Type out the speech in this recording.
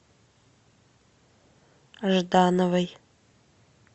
ждановой